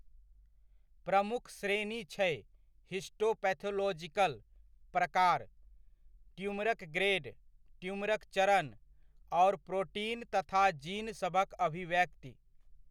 प्रमुख श्रेणी छै हिस्टोपैथोलॉजिकल प्रकार, ट्यूमरक ग्रेड, ट्यूमरक चरण, आओर प्रोटीन तथा जीन सभक अभिव्यक्ति।